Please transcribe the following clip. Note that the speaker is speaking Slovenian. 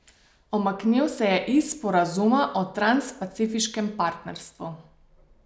Umaknil se je iz sporazuma o transpacifiškem partnerstvu.